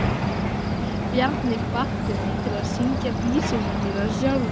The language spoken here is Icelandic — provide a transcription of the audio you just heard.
Bjarni hvatti mig til að syngja vísurnar mínar sjálfur.